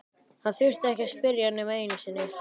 Hann þurfti ekki að spyrja nema einu sinni.